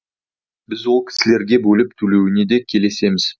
біз ол кісілерге бөліп төлеуіне де келісеміз